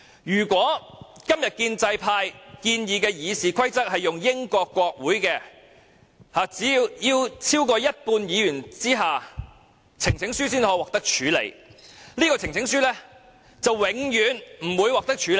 如果今天建制派建議的《議事規則》應用於英國國會，規定只有超過一半議員支持，呈請書才可獲處理，這項呈請書便永遠不會獲得處理。